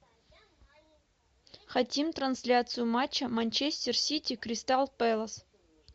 хотим трансляцию матча манчестер сити кристал пэлас